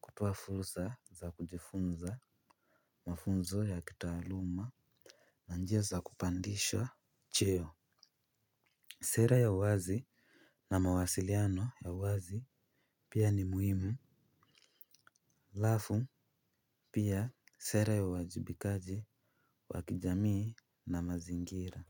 kutoa fursa za kujifunza mafunzo ya kitaaluma na njia za kupandishwa Cheo. Sera ya uwazi na mawasiliano ya uwazi pia ni muhimu. Halafu pia sera ya uwajibikaji wa kijamii na mazingira.